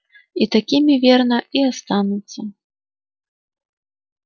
и такими верно и останутся